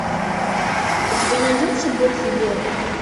у тебя найдется бог велел мне